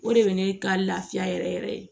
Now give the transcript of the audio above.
O de ye ne ka laafiya yɛrɛ yɛrɛ yɛrɛ ye